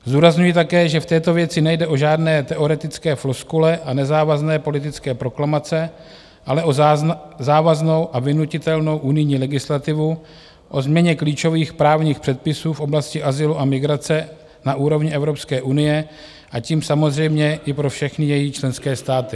Zdůrazňuji také, že v této věci nejde o žádné teoretické floskule a nezávazné politické proklamace, ale o závaznou a vynutitelnou unijní legislativu o změně klíčových právních předpisů v oblasti azylu a migrace na úrovni Evropské unie, a tím samozřejmě i pro všechny její členské státy.